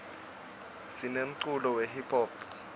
sinemculo we hiphop